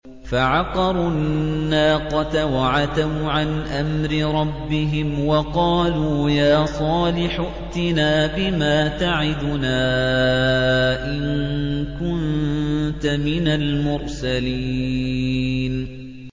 فَعَقَرُوا النَّاقَةَ وَعَتَوْا عَنْ أَمْرِ رَبِّهِمْ وَقَالُوا يَا صَالِحُ ائْتِنَا بِمَا تَعِدُنَا إِن كُنتَ مِنَ الْمُرْسَلِينَ